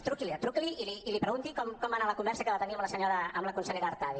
truqui li truqui li i li pregunti com va anar la conversa que va tenir amb la consellera artadi